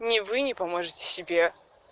ни вы ни поможете себе